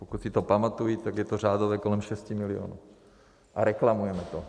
Pokud si to pamatuji, tak je to řádově kolem 6 milionů, a reklamujeme to.